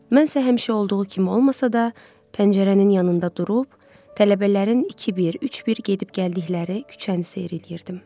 Mən isə həmişəki olduğu kimi olmasa da, pəncərənin yanında durub, tələbələrin 2-1, 3-1 gedib gəldikləri küçəni seyr eləyirdim.